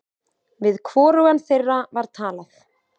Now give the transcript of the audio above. Við hvorugan þeirra var talað.